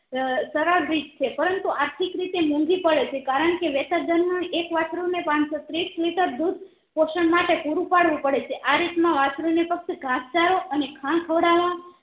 અ સરળ રીત છે પરંતુ આર્થિક રીતે મોંઘી પડે છે કારણ કે વેસર્જન એક વાસ્ત્રુ ને પાનસો ને ત્રીસ liter દુધ પોષણ માટે પૂરું પડવું પડે છે આ રીત વાસ્ત્રુ ને ફક્ત ઘાસ ચારો અને ખાણ ખવડાવવા